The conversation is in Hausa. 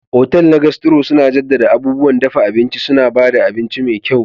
Otal na Gastro suna jaddada abubuwan dafa abinci, suna ba da abinci mai kyau.